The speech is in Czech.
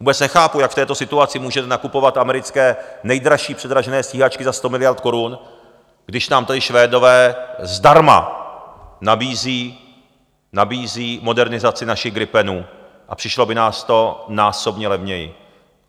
Vůbec nechápu, jak v této situaci můžete nakupovat americké nejdražší předražené stíhačky za 100 miliard korun, když nám tady Švédové zdarma nabízí modernizaci našich gripenů a přišlo by nás to násobně levněji.